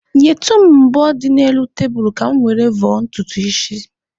Nyetụ m mvọ dị n'elu tebulu ka mụ were vọọ ntutu isi m